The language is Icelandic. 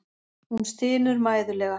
Hún stynur mæðulega.